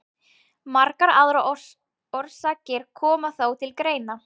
Margar aðrar orsakir koma þó til greina.